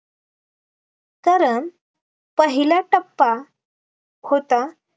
कारण पहिला टप्पा होता